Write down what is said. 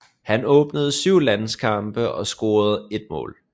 Han opnåede 7 landskampe og scorede 1 mål